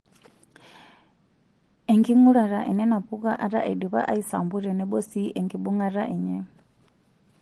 Enking'uarata enena puka ata indipa aisampu tenebo sii enkibung'ata enye.